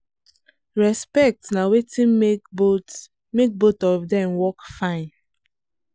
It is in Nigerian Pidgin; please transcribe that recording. respect na wetin make both make both of dem work fine